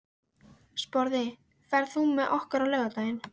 Sporði, ferð þú með okkur á laugardaginn?